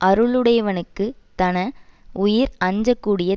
அருளுடையவனுக்குத் தன உயிர் அஞ்சக் கூடிய